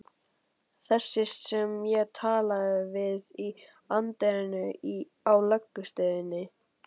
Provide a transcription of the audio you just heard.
Þessi sem ég talaði við í anddyrinu á lögreglustöðinni.